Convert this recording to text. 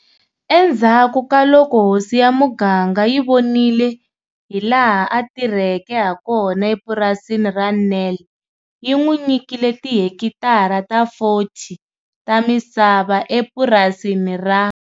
Endzhaku ka loko hosi ya muganga yi vonile hilaha a ti rheke hakona epurasini ra Nel, yi n'wi nyikile tihekitara ta 40 ta misava epurasini ra.